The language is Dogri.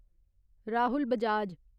राहुल बजाज